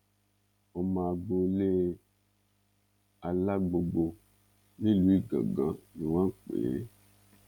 ọmọ agboolé alágbogbo nílùú ìgàngán ni wọ́n pè é